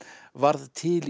varð til